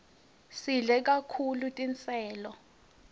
sidle kahulu tiselo